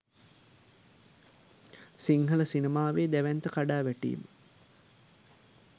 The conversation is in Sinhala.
සිංහල සිනමාවේ දැවැන්ත කඩා වැටීම